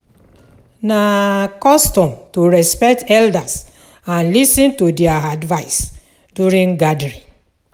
Na custom to respect elders and lis ten to their advice during gathering.